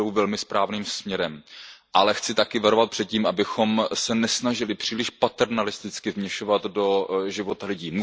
Myslím, že jdou velmi správným směrem, ale chci také varovat před tím, abychom se nesnažili příliš paternalisticky vměšovat do života lidí.